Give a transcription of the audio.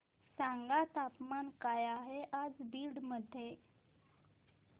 सांगा तापमान काय आहे आज बीड मध्ये